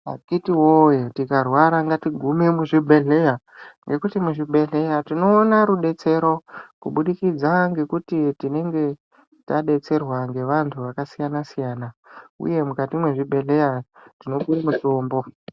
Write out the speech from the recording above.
Akiti woye tikarwara ngatigume muzvibhedhleya ngekuti muzvibhedhleya tinoone rudetsero kubudikidza ngekuti tinenge tadetserwa ngevanthu vakasiyana siyana uye mukati mezvibhedhleya tinopuwe mitombo.